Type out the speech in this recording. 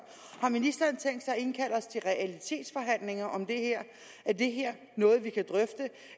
har ministeren tænkt sig at indkalde os til realitetsforhandlinger om det her er det her noget vi kan drøfte